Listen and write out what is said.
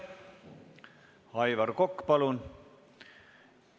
Aitäh!